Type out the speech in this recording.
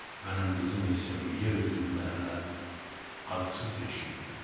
Mənim qızım isə bu yer üzündə hələ adsız yaşayırdı.